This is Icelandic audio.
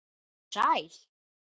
Komdu sæl.